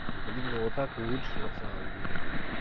блин ну вот так лучше на самом деле